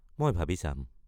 মই ভাবি চাম।